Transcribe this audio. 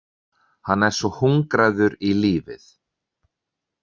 Hann er svo hungraður í lífið.